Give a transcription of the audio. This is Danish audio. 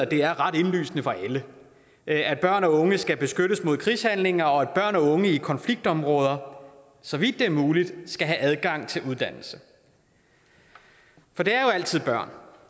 det er ret indlysende for alle at børn og unge skal beskyttes mod krigshandlinger og at børn og unge i konfliktområder så vidt det er muligt skal have adgang til uddannelse for det er jo altid børn